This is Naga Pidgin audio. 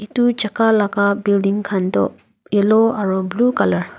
tu jaka laka building khan tu yellow aro blue colour .